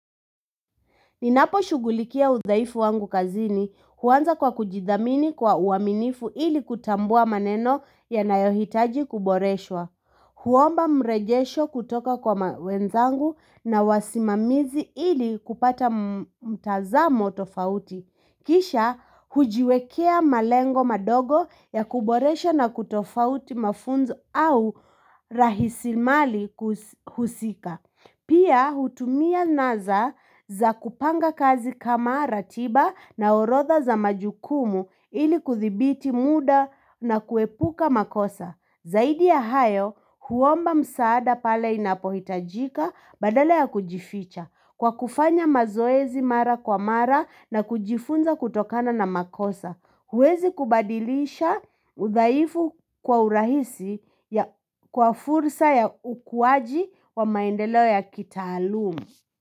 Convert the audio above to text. Ninapo shugulikia udhaifu wangu kazini huanza kwa kujidhamini kwa uaminifu ili kutambua maneno ya nayohitaji kuboreshwa. Huomba mrejesho kutoka kwa mawenzangu na wasimamizi ili kupata mtazamo tofauti. Kisha hujiwekea malengo madogo ya kuboresha na kutofauti mafunzo au rahisi mali husika. Pia hutumia naza za kupanga kazi kama ratiba na orodha za majukumu ili kuthibiti muda na kuepuka makosa. Zaidi ya hayo huomba msaada pale inapohitajika badala ya kujificha kwa kufanya mazoezi mara kwa mara na kujifunza kutokana na makosa. Huwezi kubadilisha udhaifu kwa urahisi kwa fursa ya ukuwaji wa maendeleo ya kita alumu.